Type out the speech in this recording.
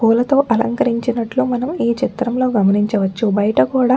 పూలతో అలకరించినట్టు మనము ఈ చిత్రంలో గమనించవచ్చుబయట కూడా --.